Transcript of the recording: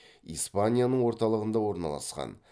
испанияның орталығында орналасқан